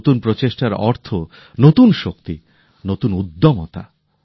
আর নতুন প্রচেষ্টার অর্থ নতুন শক্তি নতুন উদ্যমতা